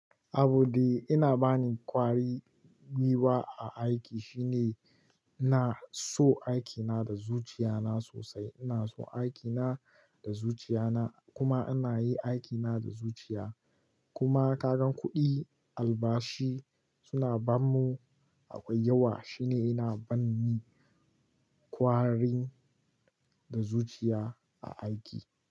Abun de yana bani kwari gwiwa a aiki shine ina so aikina da zuciya na sosai. Ina so aikina da zuciya na kuma ana yi aikina da zuciya. Kuma ka gan kuɗi albashi suna bamu akwai yawa. Shine yana ba ni kwarin da zuciya a aiki.